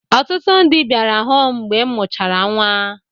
Ọtụtụ ndị bịara hụụ m mgbe m mụchara nnwa.